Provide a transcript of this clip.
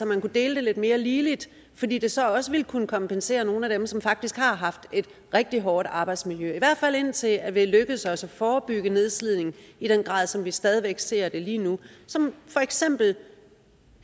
man kunne dele det lidt mere ligeligt fordi det så også ville kunne kompensere nogle af dem som faktisk har haft et rigtig hårdt arbejdsmiljø i hvert fald indtil det er lykkedes os at forebygge nedslidning i den grad som vi stadig væk ser det lige nu for eksempel